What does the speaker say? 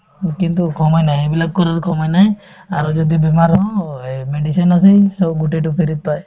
কিন্তু সময় নাই এইবিলাক কৰাৰ সময় নাই আৰু যদি বেমাৰ হয় medicine আছেই so গোটেইতো free ত পায়